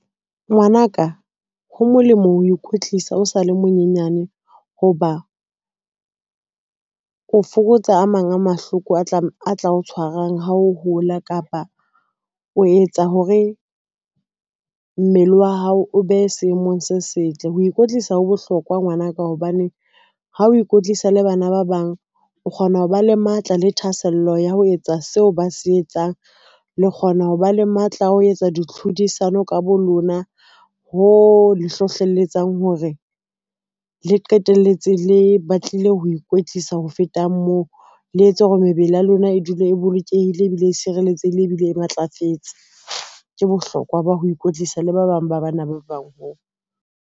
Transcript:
Ngwanaka, ho molemo o ikwetlisa o sale monyenyane hoba, o fokotsa a mang a mahloko a tla o tshwarang ha o hola kapa o etsa hore o mmele wa hao o be seemong se setle. Ho ikwetlisa ho bohlokwa ngwanaka hobaneng ha o ikwetlisa le bana ba bang, o kgona ho ba le matla le thahasello ya ho etsa seo ba se etsang. Le kgona ho ba le matla a ho etsa di tlhodisano ka bo lona. Ho le hlohlelletsang hore le qetelletse le batlile ho ikwetlisa. Ho feta moo, le etse hore mebele ya lona e dule e bolokehile ebile e sireletsehile ebile e matlafetse. Ke bohlokwa ba ho ikwetlisa le ba bang ba bana ba bang ho.